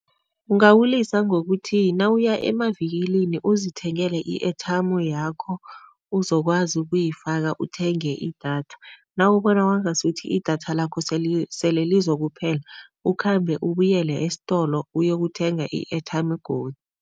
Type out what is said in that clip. Ungawulisa ngokuthi nawuya emavikilini uzithengele i-airtime yakho uzokwazi ukuyifaka, uthenge idatha. Nawubona kwangasuthi idatha lakho sele lizokuphela, ukhambe ubuyele esitolo uyokuthenga i-airtime godu.